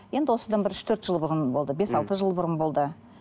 енді осындан бір үш төрт жыл бұрын болды бес алты жыл бұрын болды